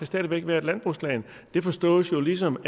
stadig væk være et landbrugsland det forstås jo ligesom